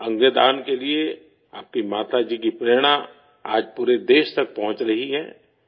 organ donation کے لیے آپ کی ماتا جی کی ترغیب پورے ملک تک پہنچ رہی ہے